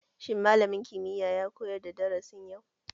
Shin malamin kimiyya ya koyar da darasin yau?